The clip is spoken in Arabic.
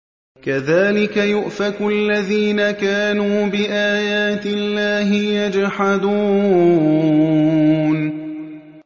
كَذَٰلِكَ يُؤْفَكُ الَّذِينَ كَانُوا بِآيَاتِ اللَّهِ يَجْحَدُونَ